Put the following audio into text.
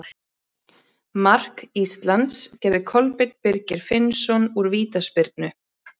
Mark Íslands gerði Kolbeinn Birgir Finnsson úr vítaspyrnu.